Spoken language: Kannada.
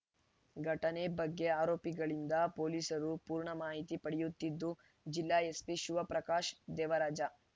ಘಟನೆ ಬಗ್ಗೆ ಆರೋಪಿಗಳಿಂದ ಪೊಲೀಸರು ಪೂರ್ಣ ಮಾಹಿತಿ ಪಡೆಯುತ್ತಿದ್ದು ಜಿಲ್ಲಾ ಎಸ್ಪಿ ಶಿವಪ್ರಕಾಶ್‌ ದೇವರಾಜ